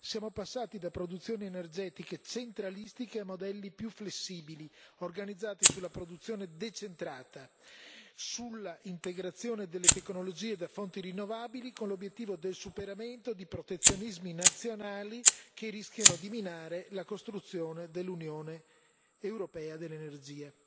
Siamo passati da produzioni energetiche centralistiche a modelli più flessibili, organizzati sulla produzione decentrata, sull'integrazione delle tecnologie da fonti rinnovabili, con l'obiettivo del superamento di protezionismi nazionali che rischiano di minare la costruzione dell'Unione europea dell'energia.